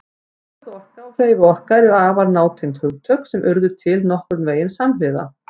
Stöðuorka og hreyfiorka eru afar nátengd hugtök sem urðu til nokkurn veginn samhliða.